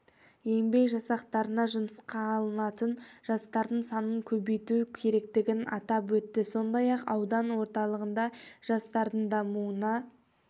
еңбек жасақтарына жұмысқа алынатын жастардың санын көбейту керектігін атап өтті сондай-ақ аудан орталығында жастардың дамуына